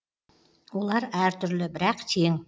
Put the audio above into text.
олар әртүрлі бірақ тең